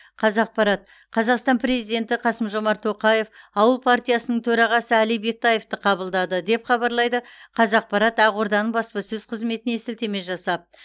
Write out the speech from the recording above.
қазақпарат қазақстан президенті қасым жомарт тоқаев ауыл партиясының төрағасы әли бектаевты қабылдады деп хабарлайды қазақпарат ақорданың баспасөз қызметіне сілтеме жасап